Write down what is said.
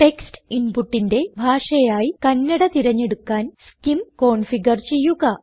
text ഇൻപുട്ടിന്റെ ഭാഷയായി കന്നഡ തിരഞ്ഞെടുക്കാൻ സ്കിം കോൺഫിഗർ ചെയ്യുക